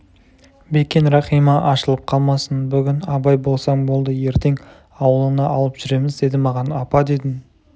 бекен рахима ашылып қалмасын бүгін абай болсаң болды ертең ауылына алып жүреміз деді маған апа дедім